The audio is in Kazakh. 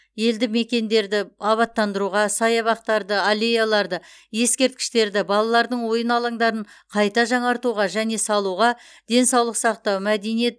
елді мекендерді абаттандыруға саябақтарды аллеяларды ескерткіштерді балалардың ойын алаңдарын қайта жаңартуға және салуға денсаулық сақтау мәдениет